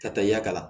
Ka taa yakari